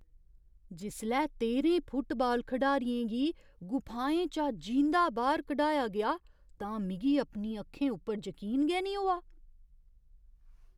जिसलै तेह्रें फुटबाल खढारियें गी गुफाएं चा जींदा बाह्‌र कढाएआ गेआ तां मिगी अपनी अक्खें उप्पर जकीन गै नेईं होआ।